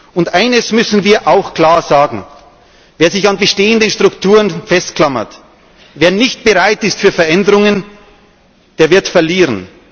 Und eines müssen wir auch klar sagen Wer sich an bestehenden Strukturen festklammert, wer nicht bereit ist für Veränderungen, der wird verlieren.